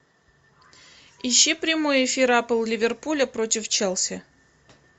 ищи прямой эфир апл ливерпуля против челси